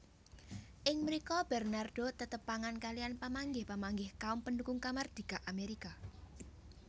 Ing mrika Bernardo tetepangan kaliyan pamanggih pamanggih kaum pendukung kamardika Amerika